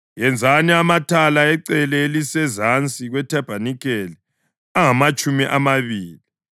Yenzani amathala ecele elisezansi kwethabanikeli angamatshumi amabili,